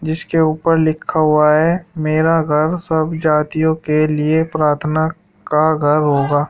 जिसके ऊपर लिखा हुआ है मेरा घर सब जातियों के लिए प्रार्थना का घर होगा।